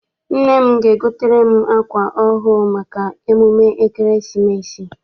Nna m ga- egotere m akwa ọhụụ maka emume ekeresimesi.